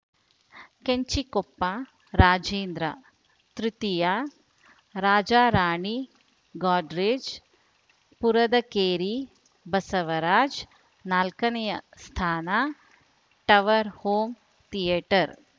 ಕೆಂಚಿಕೊಪ್ಪ ರಜೇಂದ್ರತೃತೀಯರಾಜರಾಣಿ ಗಾಡ್ರೇಜ್‌ ಪುರದಕೇರಿ ಬಸವರಾಜ್‌ನಾಲ್ಕನೇಯ ಸ್ಥಾನ ಟವರ್‌ ಹೋಂ ಥಿಯೇಟರ್‌